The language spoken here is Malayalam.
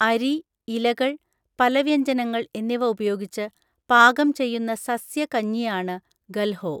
അരി, ഇലകൾ, പലവ്യഞ്ജനങ്ങൾ എന്നിവ ഉപയോഗിച്ച് പാകം ചെയ്യുന്ന സസ്യ കഞ്ഞിയാണ് ഗൽഹോ.